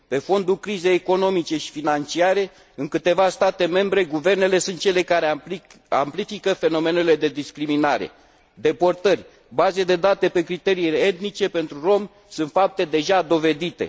Pe fondul crizei economice și financiare, în câteva state membre guvernele sunt cele care amplifică fenomenele de discriminare deportările, bazele de date pe criterii etnice pentru romi sunt fapte deja dovedite.